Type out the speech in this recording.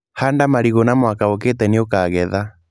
Handa marigũ na mwaka ũkite nĩ ũkagetha.